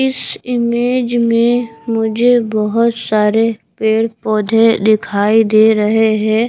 इस इमेज में मुझे बहोत सारे पेड़ पौधे दिखाई दे रहे हैं।